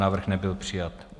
Návrh nebyl přijat.